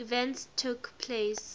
events took place